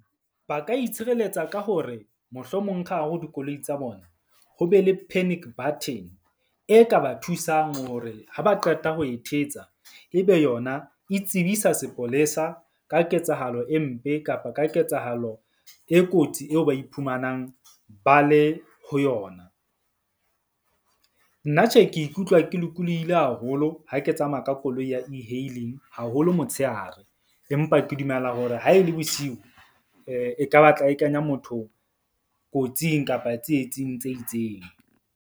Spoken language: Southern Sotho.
Ba ka itshireletsa ka hore mohlomong ka hare ho dikoloi tsa bona. Ho be le panic button e ka ba thusang hore ha ba qeta ho e thetsa. Ebe yona e tsebisa sepolesa ka ketsahalo e mpe kapa ka ketsahalo e kotsi eo ba iphumanang ba le ho yona. Nna tjhe, ke ikutlwa ke lokolohile haholo ha ke tsamaya ka koloi ya E-hailing haholo motshehare. Empa ke dumela hore ha e le bosiu e ka ba tla e kenya motho kotsing kapa tsietsing tse itseng.